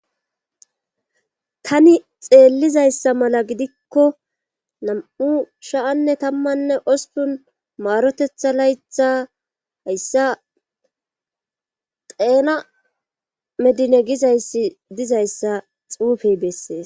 tani xeellizayssa mala gidikko nam7u shaanne tammanne ostun maarotetha laytha hayssa xeena medine gizayssi dizayssa xuufey bessees